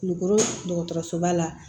Nugusoba la